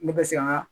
Ne bɛ se ka